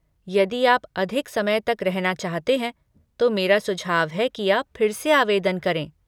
यदि आप अधिक समय तक रहना चाहते हैं, तो मेरा सुझाव है कि आप फिर से आवेदन करें।